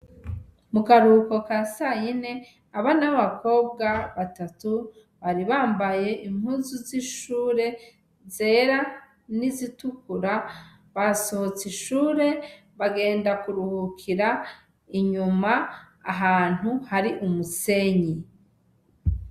Mu karuhuko ka sayine, abana b'abakobwa batatu bari bambaye impuzu z'ishure zera n'izitukura, basohotse ishure bagenda kuruhukira inyuma ahantu hari umusenyi.